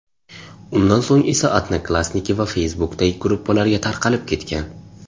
Undan so‘ng esa Odnoklassniki va Facebook’dagi gruppalarga tarqalib ketgan.